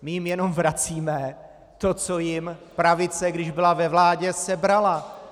My jim jenom vracíme to, co jim pravice, když byla ve vládě, sebrala.